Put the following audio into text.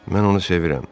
Mən onu sevirəm.